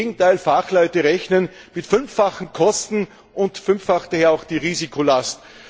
im Gegenteil, Fachleute rechnen mit fünffachen Kosten, und fünffach wäre auch die Risikolast.